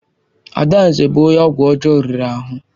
Adanze bụ onye ọgwụ ọjọọ riri ahụ.